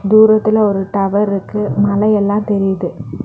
தூரத்துல ஒரு டவர் இருக்கு. மலை எல்லாம் தெரியுது.